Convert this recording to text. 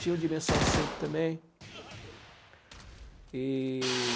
Tinha o Dimensão cinco também. E...